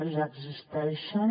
ja existeixen